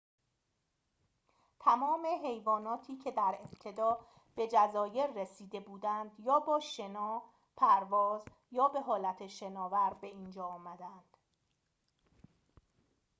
تمام حیواناتی که در ابتدا به جزایر رسیده بودند یا با شنا پرواز یا به حالت شناور به اینجا آمدند